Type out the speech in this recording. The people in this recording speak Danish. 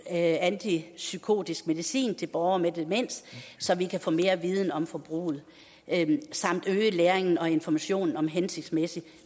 af antipsykotisk medicin til borgere med demens så vi kan få mere viden om forbruget samt øge læringen og informationen om hensigtsmæssig